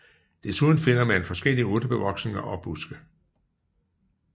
Desuden finder man forskellige urtebevoksninger og buske